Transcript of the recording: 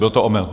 Byl to omyl?